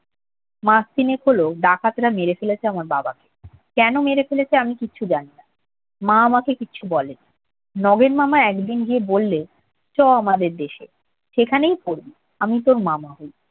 মাস তিনেক হলো ডাকাতরা মেরে ফেলেছে আমার বাবাকে। কেন মেরে ফেলেছে আমি কিচ্ছু জানি না। মা আমাকে কিচ্ছু বলেনি। নগেন মামা একদিন গিয়ে বললে, চল আমাদের দেশে। সেখানেই পড়বি। আমি তোর মামা হই।